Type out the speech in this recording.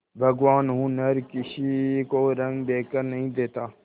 भगवान हुनर किसी को रंग देखकर नहीं देता